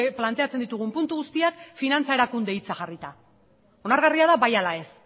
planteatzen ditugun puntu guztiak finantza erakunde hitza jarrita onargarria da bai ala ez